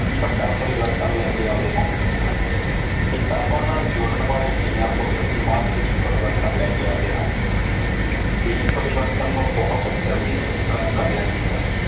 ਵੱਡਾ ਪਰਿਵਰਤਨ ਲੈ ਕੇ ਆਉਂਦੇ ਹਨ। ਕਿਤਾਬਾਂ ਨਾਲ ਜੁੜਨ ਵਾਲੇ ਧੀਆਂ ਪੁੱਤ ਸਮਾਜ ਵਿਚ ਪਰਿਵਰਤਨ ਲੈ ਕੇ ਆਉਂਦੇ ਹਨ। ਧੀ ਪਰਿਵਰਤਨ ਨੂੰ ਬਹੁਤ ਜਲਦੀ ਸਵੀਕਾਰ ਕਰ ਲੈਂਦੀ ਹੈ।